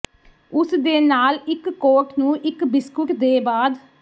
ਉਸ ਦੇ ਨਾਲ ਇੱਕ ਕੋਟ ਨੂੰ ਇੱਕ ਬਿਸਕੁਟ ਦੇ ਬਾਅਦ